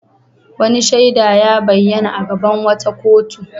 Wani shaida ya bayyana a gaban wata kotu.